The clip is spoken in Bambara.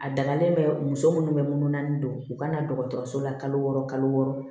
A dagalen bɛ muso minnu bɛ munun naani don u ka na dɔgɔtɔrɔso la kalo wɔɔrɔ kalo wɔɔrɔ